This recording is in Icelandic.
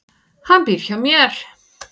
Hann býr hjá mér.